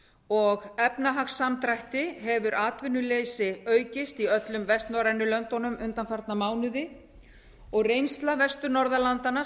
og efnahagssamdrætti hefur atvinnuleysi aukist í öllum vestnorrænu löndunum undanfarna mánuði og reynsla vestur norðurlandanna